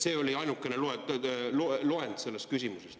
See oli ainukene variant selles loendis.